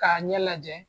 K'a ɲɛ lajɛ